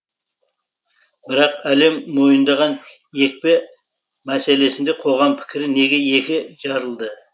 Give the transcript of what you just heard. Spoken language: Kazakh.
бірақ әлем мойындаған екпе мәселесінде қоғам пікірі неге екі жарылды